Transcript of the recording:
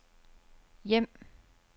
hjem